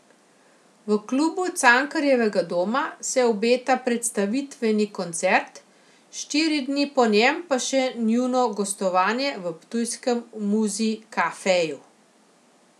V Klubu Cankarjevega doma se obeta predstavitveni koncert, štiri dni po njem pa še njuno gostovanje v ptujskem muziKafeju.